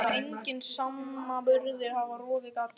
Þessi veröld sem enginn samanburður hafði rofið gat á.